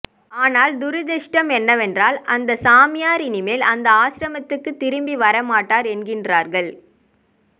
ஆனால் துரதிருஷ்டம் என்னவென்றால் அந்த சாமியார் இனிமேல் அந்த ஆசிரமத்துக்கு திரும்பி வர மாட்டார் என்கிறார்கள்